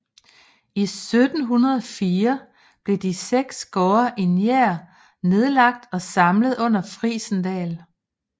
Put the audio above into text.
I 1704 blev de seks gårde i Njær nedlagt og samlet under Frijsendal